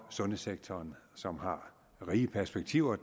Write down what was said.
sundhedssektoren som har rige perspektiver og